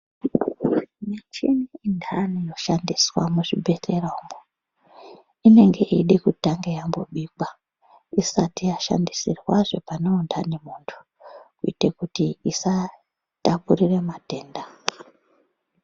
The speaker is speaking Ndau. Michini intani inoshandiswa muzvibhedhlera umwo, inenge yeida kutanga yambobikwa ,isati yashandisirwazve pane untani munhu, kuite kuti isatapurire matenda.